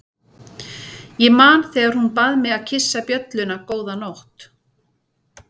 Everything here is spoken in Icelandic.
Ég man þegar hún bað mig að kyssa bjölluna góða nótt.